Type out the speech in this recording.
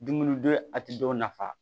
Dumuni don a tɛ dɔw nafa